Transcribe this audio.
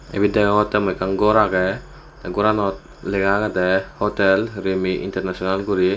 ebe degongte mui ekan gor aagey teh goranot lega aagey de hotel rimi international guri.